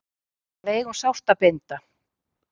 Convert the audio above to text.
Að eiga um sárt að binda